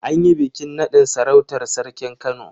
An yi bikin naɗin sarautar sarkin Kano.